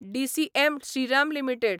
DCM Shriram limited